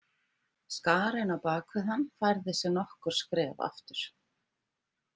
Skarinn á bak við hann færði sig nokkur skref aftur.